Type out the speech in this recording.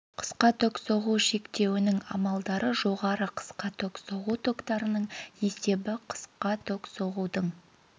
қысқа ток соғу шектеуінің амалдары жоғары қысқа ток соғу токтарының есебі қысқа ток соғудың